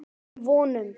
um vonum.